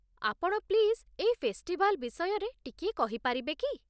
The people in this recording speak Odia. ଆପଣ ପ୍ଲିଜ୍ ଏଇ ଫେଷ୍ଟିଭାଲ୍ ବିଷୟରେ ଟିକିଏ କହିପାରିବେ କି?